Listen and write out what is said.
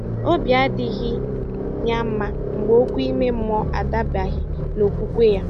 Obi adịghị ya mma mgbe okwu ime mmụọ adabaghi n'okwukwe ya